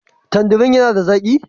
Tandirin yana da zaƙi?